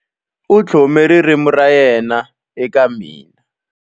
U tlhome ririmi ra yena eka mina.